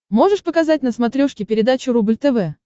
можешь показать на смотрешке передачу рубль тв